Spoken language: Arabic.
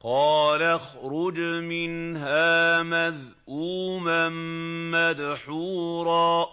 قَالَ اخْرُجْ مِنْهَا مَذْءُومًا مَّدْحُورًا ۖ